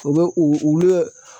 U bɛ u ulu ye